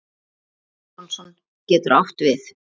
Magnús Jónsson getur átt við